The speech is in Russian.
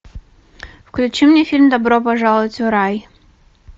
включи мне фильм добро пожаловать в рай